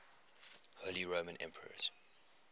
holy roman emperors